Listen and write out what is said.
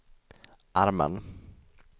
armen